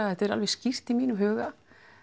þetta er alveg skýrt í mínum huga